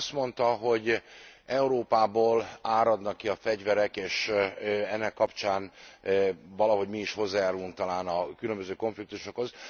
Ön azt mondta, hogy Európából áradnak ki a fegyverek és ennek kapcsán valahogy mi is hozzájárulunk talán a különböző konfliktusokhoz.